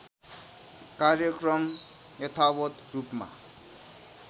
कार्यक्रम यथावत् रूपमा